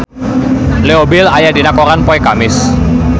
Leo Bill aya dina koran poe Kemis